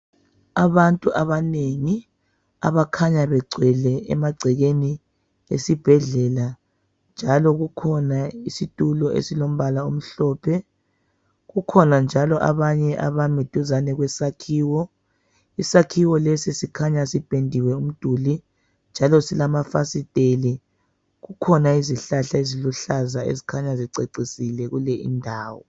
Abantu abanengi abakhanya begcwele emagcekeni esibhedlela, njalo kukhona isitulo esilombala omhlophe. Kukhona njalo abanye abami duzane kwesakhiwo. Isakhiwo lesi sikhanya sipendiwe umduli, njalo silamafasiteli. Kukhona izihlahla eziluhlaza ezikhanya zicecisile kule indawo.